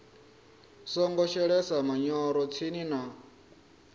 songo shelesa manyoro tsini na